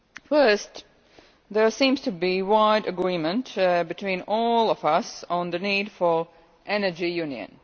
First, there seems to be general agreement between all of us on the need for Energy Union.